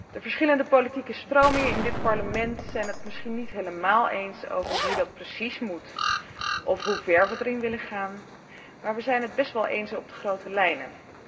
De verschillende politieke stromingen in dit Parlement zijn het er misschien niet helemaal over eens hoe dat precies moet of hoe ver we daarin willen gaan, maar we zijn het best wel eens over de grote lijnen.